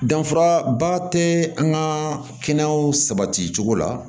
Danfara ba tɛ an ka kɛnɛyaw sabati cogo la